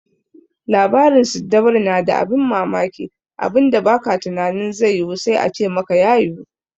Labarin siddabaru na da abin bammamaki, abinda ba ka tunanin zai yiwu sai a ce maka ya yiwu.